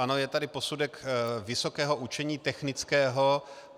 Ano, je tady posudek Vysokého učení technického.